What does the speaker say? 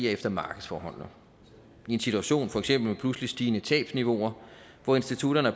efter markedsforholdene i en situation med for eksempel pludseligt stigende tabsniveauer hvor institutterne